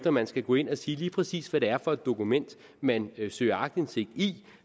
at man skal gå ind og sige lige præcis er for et dokument man søger aktindsigt i